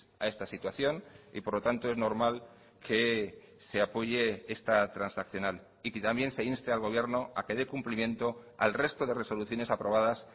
a esta situación y por lo tanto es normal que se apoye esta transaccional y que también se inste al gobierno a que de cumplimiento al resto de resoluciones aprobadas